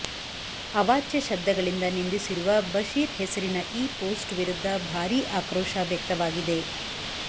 ಅವಾಚ್ಯ ಶಬ್ದಗಳಿಂದ ನಿಂದಿಸಿರುವ ಬಷೀರ್ ಹೆಸರಿನ ನ ಈ ಪೋಸ್ಟ್ ವಿರುದ್ಧ ಭಾರೀ ಆಕ್ರೋಶ ವ್ಯಕ್ತವಾಗಿದೆ